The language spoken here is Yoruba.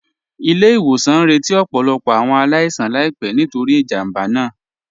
Ilẹ̀-ìwòsàn ñ rẹ̀tí ọ̀pọ̀lọ̀pọ̀ awọn aláìsàn láìpẹ̀ nítorí ìjámbá náà